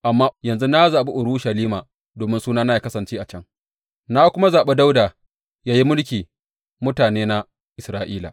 Amma yanzu na zaɓi Urushalima domin Sunana yă kasance a can, na kuma zaɓi Dawuda yă yi mulkin mutanena Isra’ila.’